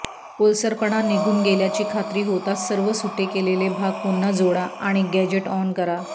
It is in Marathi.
ओलसरपणा निघून गेल्याची खात्री होताच सर्व सुटे केलेले भाग पुन्हा जोडा आणि गॅजेट ऑन करा